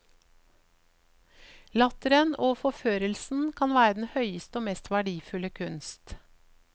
Latteren og forførelsen kan være den høyeste og mest verdifulle kunst.